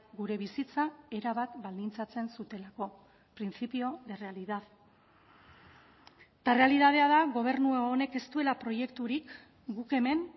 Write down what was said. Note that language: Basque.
gure bizitza erabat baldintzatzen zutelako principio de realidad eta errealitatea da gobernu honek ez duela proiekturik guk hemen